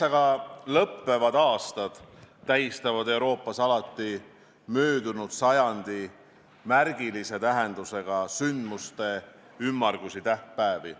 Üheksaga lõppevad aastad tähistavad Euroopas alati möödunud sajandi märgilise tähendusega sündmuste ümmargusi tähtpäevi.